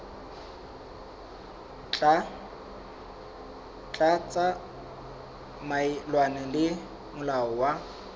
tla tsamaelana le molao wa